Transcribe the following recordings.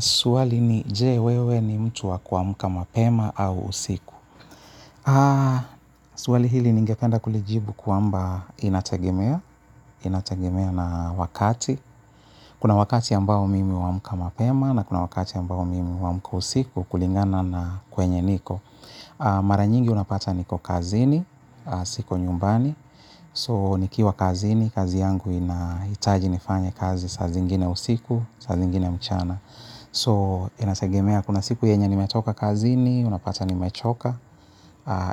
Swali ni, je, wewe ni mtu wa kuamka mapema au usiku? Swali hili ningependa kulijibu kwamba inategemea, inategemea na wakati. Kuna wakati ambao mimi wa humka mapema na kuna wakati ambao mimi huamka usiku kulingana na kwenye niko. Mara nyingi unapata niko kazini, siko nyumbani. So nikiwa kazini, kazi yangu inahitaji nifanye kazi saa zingine usiku, saa zingine mchana. So, inategemea kuna siku yenye nimetoka kazini, unapata nimechoka,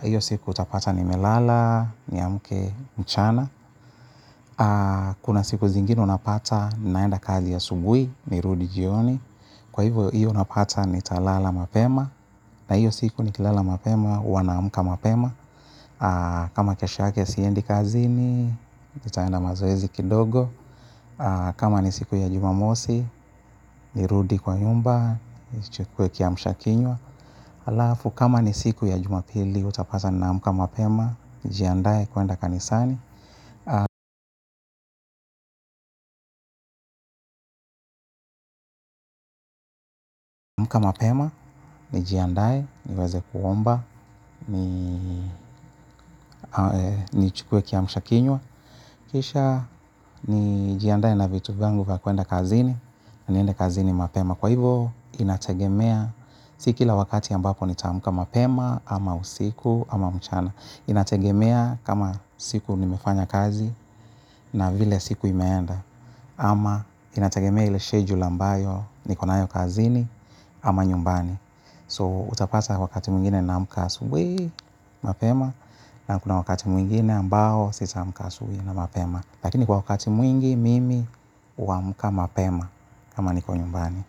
hiyo siku utapata nimelala, niamke mchana. Kuna siku zingine unapata naenda kazi asubuhi, nirudi jioni. Kwa hivyo, hiyo unapata nitalala mapema, na hiyo siku nikilala mapema, huwa naamka mapema. Kama kesha yake siendi kazini, nitaenda mazoezi kidogo. Kama ni siku ya jumamosi, nirudi kwa nyumba, nichukue kiamsha kinywa. Halafu kama ni siku ya Jumapili utapata naamka mapema, nijiandaye kuenda kanisani. Mapema, nijiandae, niweze kuomba, ni chukwe kia mshakinwa. Kisha, nijiandae na vitu vyangu kwa kuenda kazini, niende kazini mapema. Kwa hivo, inategemea si kila wakati ambapo nitaamka mapema, ama usiku, ama mchana. Inategemea kama siku nimefanya kazi na vile siku imeenda. Ama inategemea ile schedule ambayo niko nayo kazini, ama nyumbani. So, utapata wakati mwingine naamka asubuhi mapema, na kuna wakati mwingine ambao sitaamka asubuhi na mapema. Lakini kwa wakati mwingi, mimi huamka mapema, kama niko nyumbani.